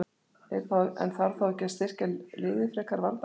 En þarf þá ekki að styrkja liðið frekar varnarlega?